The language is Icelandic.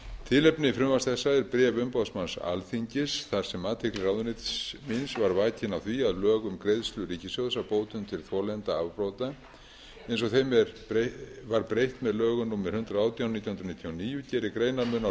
tilefni frumvarps þessa er bréf umboðsmanns alþingis þar sem athygli ráðuneytis míns var vakin á því að lög um greiðslu ríkissjóðs af bótum til þolenda afbrota eins og þeim var breytt með lögum númer hundrað og átján nítján hundruð níutíu og níu gerir greinarmun á